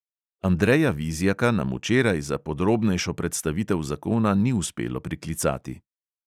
Andreja vizjaka nam včeraj za podrobnejšo predstavitev zakona ni uspelo priklicati.